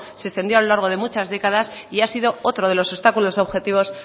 se extendió a lo largo de muchas décadas y ha sido otro de los obstáculos objetivos